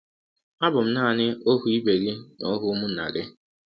Abụ m naanị ọhụ ibe gị na ọhụ ụmụnna gị...